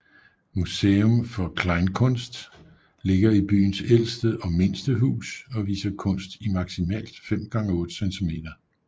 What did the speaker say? Museum for Kleinkunst ligger i byens ældste og mindste hus og viser kunst i maksimalt 5x8 cm